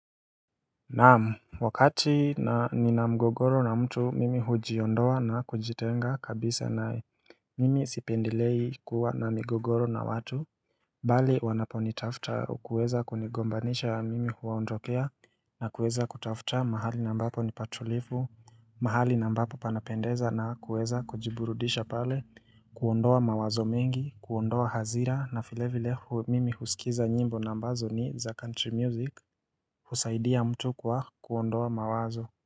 Naam wakati nina mgogoro na mtu mimi hujiondoa na kujitenga kabisa naye Mimi sipendelei kuwa na migogoro na watu Bali wanaponitafuta au kuweza kunigombanisha mimi huwaondokea na kuweza kutafuta mahali na ambapo ni patulivu mahali na ambapo panapendeza na kuweza kujiburudisha pale kuondoa mawazo mengi kuondoa hasira na vile vile hu mimi husikiza nyimbo na ambazo ni za country music husaidia mtu kwa kuondoa mawazo.